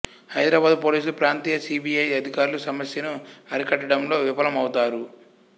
హైదరాబాదు పోలీసులు ప్రాంతీయ C B I అధికారులు సమస్యను అరికట్టడంలో విఫలమవుతారు